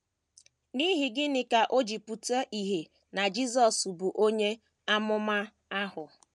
N’ihi gịnị ka o ji pụta ìhè na Jisọs bụ “ onye amụma ahụ ”?